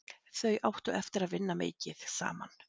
Þau áttu eftir að vinna mikið saman.